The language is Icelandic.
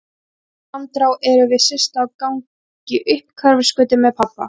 Í næstu andrá erum við Systa á gangi upp Hverfisgötu með pabba.